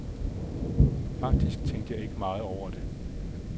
Faktisk tænkte jeg ikke meget over det.